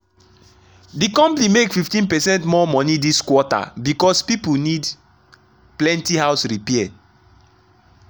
the company make 15 percent more money this quarter because people need plenty house repair.